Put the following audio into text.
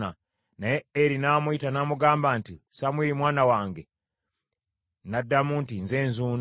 naye Eri n’amuyita n’amugamba nti, “Samwiri, mwana wange.” N’addamu nti, “Nze nzuuno.”